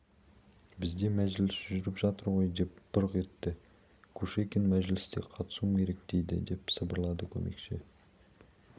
бізде мәжіліс жүріп жатыр ғой деп бұрқ етті кушекин мәжіліске қатысуым керек дейді деп сыбырлады көмекші